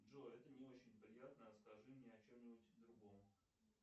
джой это не очень приятно расскажи мне о чем нибудь другом